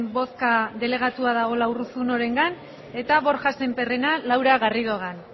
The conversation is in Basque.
bozka delegatua dagoela urruzunorengan eta borja sémperrena laura garridogan